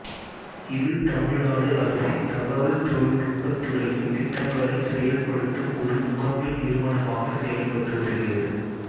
இது தமிழ்நாடு அரசின் தகவல் தொழிலநுட்பத் துறையின் திட்டங்களைச் செயல்படுத்தும் ஒரு முகமை நிறுவனமாகச் செயல்பட்டு வருகிறது